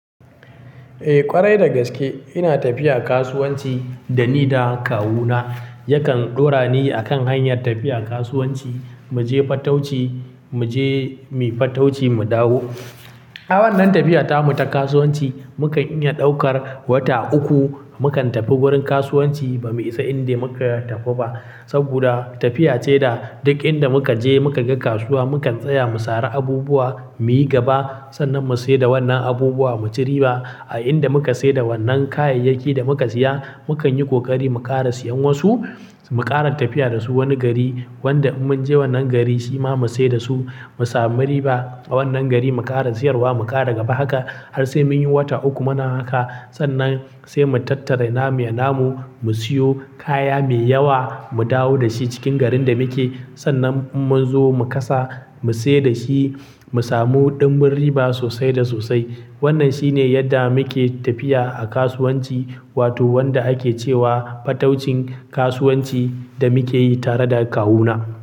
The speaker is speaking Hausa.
Eh ƙwarai da gaske ina tafiya kasuwanci dani da kawuna yakan ɗaurani akan hanyar tafiya kasuwanci muje fatauci, muje muyi fatauci mu dawo. A wannan tafiyata mu ta kasuwanci muka iya ɗaukar wata uku, mukantafe wurin kasuwanci bamu isa inda mukaya tafe ba saboda tafiya ce da duk inda muka je muka ga kasuwa mukan tsaya mu sare abubuwa muyi gaba sannan mu sai da wannan abubuwa mu ci riba. A inda muka sai da wannan kayayyaki da muka siya mukanyi ƙoƙari mu ƙara siyan wasu mu ƙara tafiya dasu wani gari wanda in munje wannan gari shima mu saida su mu samu riba a wannan gari mu ƙara siyarwa mu ƙara gaba haka har sai munyi wata uku Muna haka sannan sai mu tattara namu ya namu mu siyo kaya me yawa mu dawo dashi cikin garin da muke sannan munzo mu kasa mu sai dashi mu samu ɗumbun riba sosai da sosai. Wannan shine yadda muke tafiya a kasuwanci wato wanda ake cewa fataucin kasuwanci da muke yi tare da kawuna.